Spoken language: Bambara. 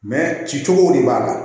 ci cogow de b'a la